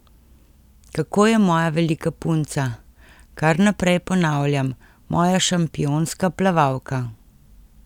Kako je moja velika punca, kar naprej ponavljam, moja šampionska plavalka.